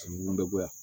bɛ bɔ yan